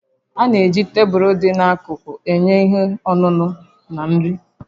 A na-eji tebụl dị n'akụkụ enye ihe ọṅụṅụ na nri